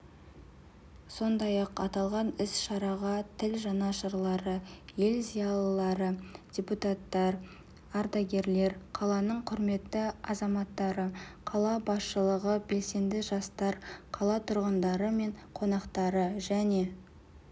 сондай-ақ аталған іс-шараға тіл жанашырлары ел зиялылары депутаттар ардагерлер қаланың құрметті азаматтары қала басшылығы белсенді жастар қала тұрғындары мен қонақтары және